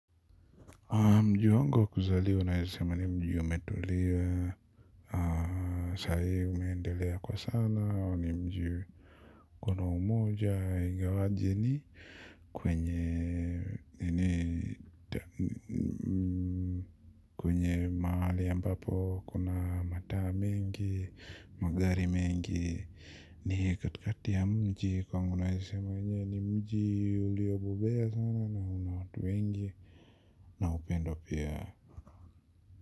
Mji wangu kuzali naezasema ni mji umetuliwa. Sai umeendelea kwa sana wa ni mji. Kuna umoja ingawaji ni kwenye nini. Kwenye maali yambapo kuna mataa mingi, magari mingi ni katikati ya mji kwa naeza sema ni mji ulio bobea sana na una watu wengi. Na upendo pia. Kwa hivyo.